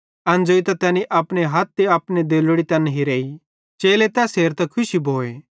एन ज़ोइतां तैनी अपने हथ ते अपनी देल्लोड़ी तैन हिराई चेले तैस हेरतां खुशी भोए